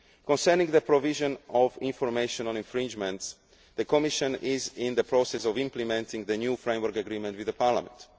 key issues. Concerning the provision of information on infringements, the Commission is in the process of implementing the new framework agreement with